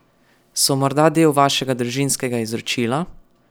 So morda del vašega družinskega izročila?